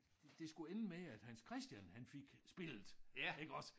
Det skulle ende med at Hans Christian han fik spillet iggås